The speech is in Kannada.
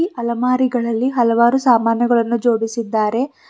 ಇ ಅಲಮಾರಿಗಳಲ್ಲಿ ಹಲವಾರು ಸಾಮಾನುಗಳನ್ನು ಜೋಡಿಸಿದ್ದಾರೆ.